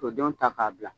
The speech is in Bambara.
K'o denw ta k'a bila